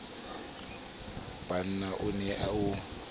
b na o ne o